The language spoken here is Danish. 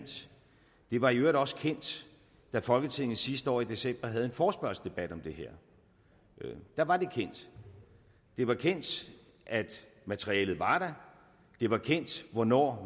var i øvrigt også kendt da folketinget sidste år i december havde en forespørgselsdebat om det her da var det kendt det var kendt at materialet var der det var kendt hvornår